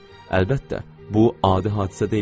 Əlbəttə, bu adi hadisə deyildi.